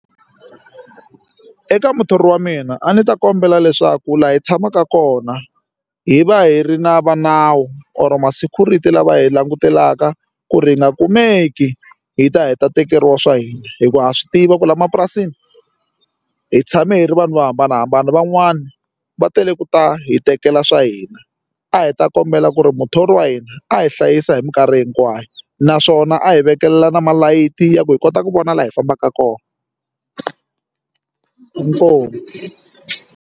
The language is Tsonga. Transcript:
Eka muthori wa mina a ndzi ta kombela leswaku laha hi tshamaka kona hi va hi ri na va nawu or ma security lava hi langutelaka ku ri nga kumeki hi ta heta tekeriwa swa hina hikuva ha swi tiva ku la mapurasini hi tshama hi ri vanhu vo hambanahambana van'wani va tele ku ta hi tekela swa hina a hi ta kombela ku ri muthori wa hina a hi hlayisa hi minkarhi hinkwayo naswona a hi vekelela na malayithi ya ku hi kota ku vona laha hi fambaka kona inkomu.